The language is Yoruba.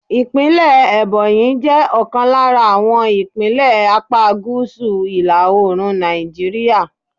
Ìpínlẹ̀ Ebonyi jẹ́ ọ̀kan lára àwọn ìpínlẹ̀ apá gúúsù ìlà Òòrùn Nàìjíríà.